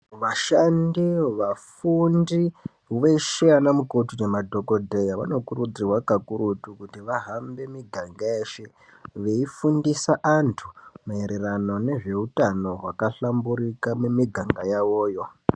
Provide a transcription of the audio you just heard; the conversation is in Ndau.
Vashandi vafundi veshe anamukoti nemadhogodheya vanokurudzirwa kakurutu kuti vahambe miganga yeshe, Veifundisa antu maererano nezveutano hwakahlamburika mumiganga yavoyo.